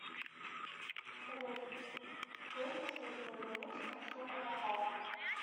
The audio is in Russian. салют брось последнему звонившему штуку на карту